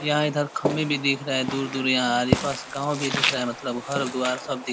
यहाँ इधर खम्भे भी दिख रहे हैं दूर-दूर यहाँ आरिपास गाँव भी दिख रहा है मतलब हर-द्वार सब दिख --